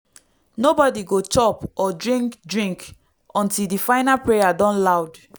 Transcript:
nobody go chop or drink drink until di final prayer don loud.